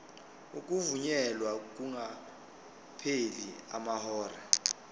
ukuvunyelwa kungakapheli amahora